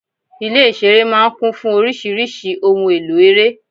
Ilé-ìṣeré máa ń kún fún oríṣiríṣi ohun-èlò ere.